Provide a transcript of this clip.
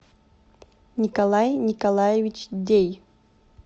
николай николаевич дей